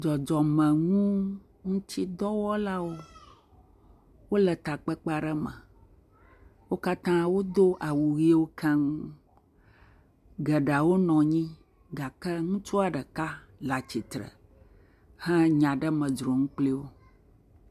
Dzɔdzɔmenuŋutidɔwɔlawo, wole takpekpe aɖe me, wo katã wodo awu ʋewo keŋ taŋ, geɖewo nɔ anyi gake ŋutsua ɖeka le atsitre hã he nya ɖe me dzrom kpli wo.